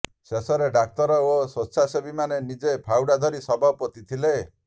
ଶେଷରେ ଡାକ୍ତର ଓ ସ୍ବେଚ୍ଛାସେବୀମାନେ ନିଜେ ଫାଉଡ଼ା ଧରି ଶବ ପୋତିଥିଲେ